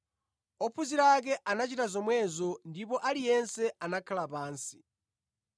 Ophunzira ake anachita zomwezo ndipo aliyense anakhala pansi.